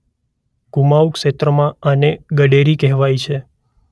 કુમાંઉં ક્ષેત્રમાં આને ગડેરી કહેવાય છે.